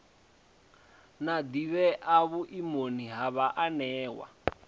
na ḓivhea vhuimoni ha vhaanewa